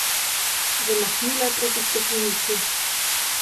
Zamahnila je proti steklenici.